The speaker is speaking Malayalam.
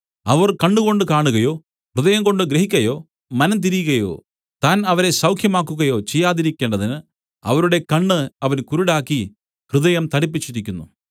അവർ കണ്ണുകൊണ്ട് കാണുകയോ ഹൃദയംകൊണ്ട് ഗ്രഹിക്കയോ മനം തിരികയോ താൻ അവരെ സൌഖ്യമാക്കുകയോ ചെയ്യാതിരിക്കേണ്ടതിന് അവരുടെ കണ്ണ് അവൻ കുരുടാക്കി ഹൃദയം തടിപ്പിച്ചിരിക്കുന്നു